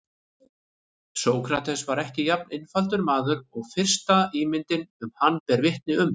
Sókrates var ekki jafn einfaldur maður og fyrsta ímyndin um hann ber vitni um.